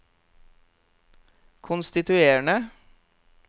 konstituerende